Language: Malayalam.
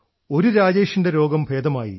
ഒരു രാജേഷിന്റെ രോഗം ഭേദമായി